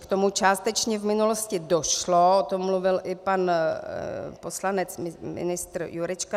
K tomu částečně v minulosti došlo, o tom mluvil i pan poslanec ministr Jurečka.